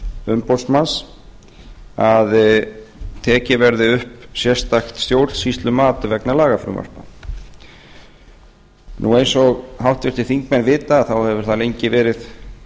umboðsmanns að tekið verði upp sérstakt stjórnsýslumat vegna lagafrumvarpa eins og háttvirtir þingmenn vita hefur það lengi verið